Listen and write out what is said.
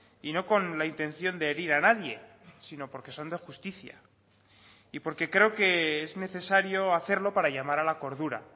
y no con la intención de herir a nadie sino porque son de justicia y porque creo que es necesario hacerlo para llamar a la cordura